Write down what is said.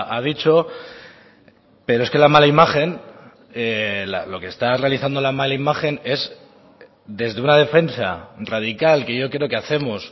ha dicho pero es que la mala imagen lo que está realizando la mala imagen es desde una defensa radical que yo creo que hacemos